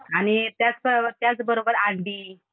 आणि त्याच त्याचबरोबर अंडी.